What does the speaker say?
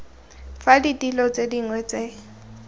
fa ditilo tse dingwe tse